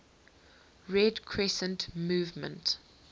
red crescent movement